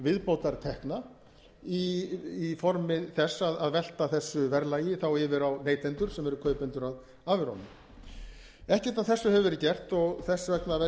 viðbótartekna í formi þess að velta þessu verðlagi þá yfir á neytendur sem eru kaupendur að afurðunum ekkert af þessu hefur verið gert og þess vegna verð ég auðvitað að